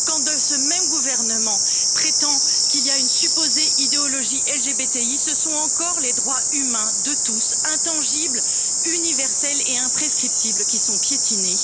Quand ce même gouvernement prétend qu'il y a une supposée idéologie LGBTI, ce sont encore les droits humains de tous, intangibles, universels et imprescriptibles, qui sont piétinés!